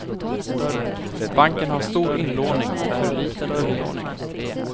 Banken har stor inlåning och för liten utlåning.